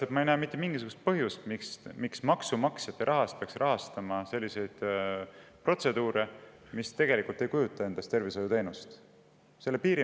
Ma ei näe mitte mingisugust põhjust, miks me peaksime maksumaksja raha eest rahastama selliseid protseduure, mis tegelikult ei kujuta endast tervishoiuteenuseid.